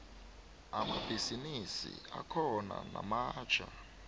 amabhisimisi akhona namatjha